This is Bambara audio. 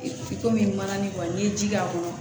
komi mana nin kɔni n'i ye ji k'a kɔnɔ